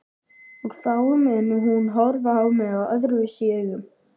Og þá mun hún horfa á mig öðruvísi augum.